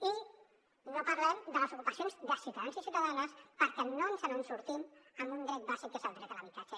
i no parlem de les ocupacions de ciutadans i ciutadanes perquè no ens en sortim en un dret bàsic que és el dret a l’habitatge